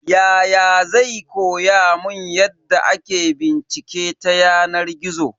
Yaya zai koya mun yadda ake bincike ta yanar gizo.